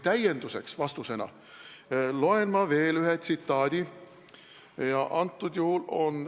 Täiendava vastusena loen ma ette ühe tsitaadi.